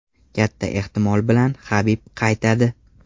Katta ehtimol bilan Habib qaytadi.